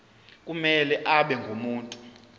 kumele abe ngumuntu